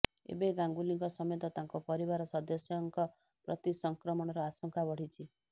ଏବେ ଗାଙ୍ଗୁଲିଙ୍କ ସମେତ ତାଙ୍କ ପରିବାର ସଦସ୍ୟଙ୍କ ପ୍ରତି ସଂକ୍ରମଣର ଆଶଙ୍କା ବଢ଼ିଛି